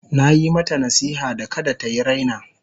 Na yi mata nasiha da kada ta yi raina.